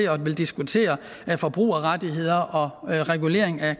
at ville diskutere forbrugerrettigheder og regulering af